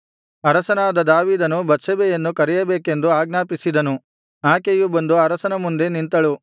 ಅರಸನಾದ ದಾವೀದನು ಬತ್ಷೆಬೆಯನ್ನು ಕರೆಯಬೇಕೆಂದು ಆಜ್ಞಾಪಿಸಿದನು ಆಕೆಯು ಬಂದು ಅರಸನ ಮುಂದೆ ನಿಂತಳು